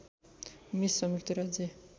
miss संयुक्त राज्य